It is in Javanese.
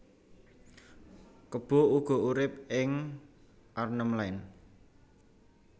Kebo uga urip ing Arnhem Land